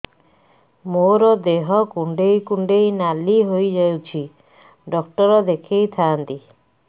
ମୋର ଦେହ କୁଣ୍ଡେଇ କୁଣ୍ଡେଇ ନାଲି ହୋଇଯାଉଛି ଡକ୍ଟର ଦେଖାଇ ଥାଆନ୍ତି